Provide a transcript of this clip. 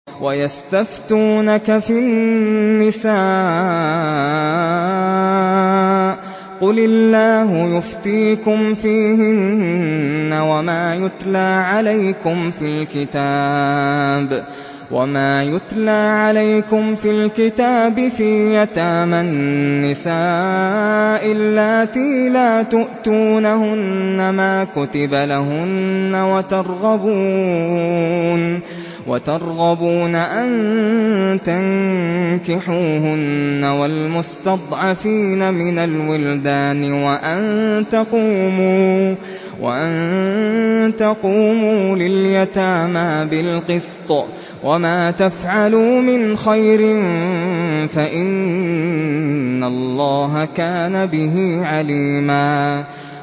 وَيَسْتَفْتُونَكَ فِي النِّسَاءِ ۖ قُلِ اللَّهُ يُفْتِيكُمْ فِيهِنَّ وَمَا يُتْلَىٰ عَلَيْكُمْ فِي الْكِتَابِ فِي يَتَامَى النِّسَاءِ اللَّاتِي لَا تُؤْتُونَهُنَّ مَا كُتِبَ لَهُنَّ وَتَرْغَبُونَ أَن تَنكِحُوهُنَّ وَالْمُسْتَضْعَفِينَ مِنَ الْوِلْدَانِ وَأَن تَقُومُوا لِلْيَتَامَىٰ بِالْقِسْطِ ۚ وَمَا تَفْعَلُوا مِنْ خَيْرٍ فَإِنَّ اللَّهَ كَانَ بِهِ عَلِيمًا